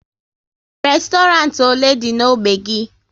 Restorant ole dị n'ógbè gị?